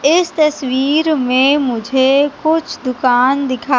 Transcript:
इस तस्वीर मैं मुझे कुछ दुकान दिखा--